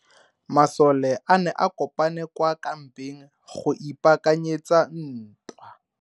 Masole a ne a kopane kwa kampeng go ipaakanyetsa ntwa.